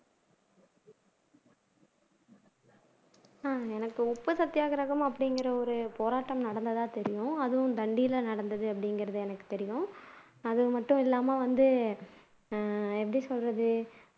உப்பு சத்தியாகிரகம் அப்படிங்கிற ஒரு போராட்டம் நடந்ததா தெரியும் அதுவும் தண்டில நடந்தது அப்படிங்கிறது எனக்கு தெரியும் அது மட்டும் இல்லாம வந்து